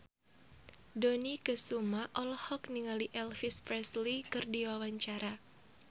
Dony Kesuma olohok ningali Elvis Presley keur diwawancara